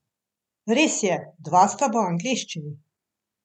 Res je, dva sta v angleščini.